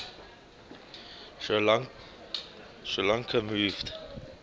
sri lanka moved